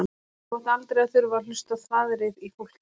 Þú átt aldrei að þurfa að hlusta á þvaðrið í fólki.